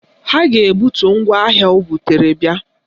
A ga-ebutu ngwaahịa o butere bia